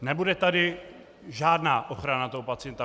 Nebude tady žádná ochrana toho pacienta.